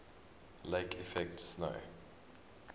lake effect snow